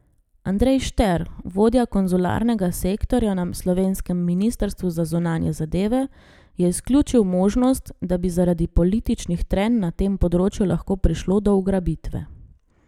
Andrej Šter, vodja konzularnega sektorja na slovenskem ministrstvu za zunanje zadeve, je izključil možnost, da bi zaradi političnih trenj na tem področju lahko prišlo do ugrabitve.